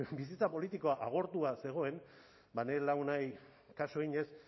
bizitza politikoa agortua zegoen nire lagunei kasu eginez